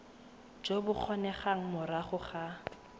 jo bo kgonegang morago ga